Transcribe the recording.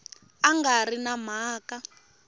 a nga ri na mhaka